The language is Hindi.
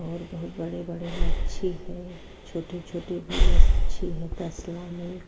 और बोहोत बड़े-बड़े मच्छी है। छोटे-छोटे भी मच्छी है तसला में।